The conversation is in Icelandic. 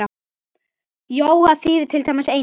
Jóga þýðir til dæmis eining.